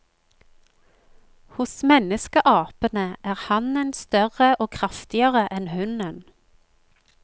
Hos menneskeapene er hannen større og kraftigere enn hunnen.